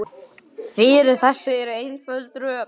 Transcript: Fyrir þessu eru einföld rök.